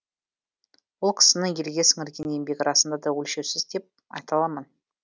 ол кісінің елге сіңірген еңбегі расында да өлшеусіз деп айта аламын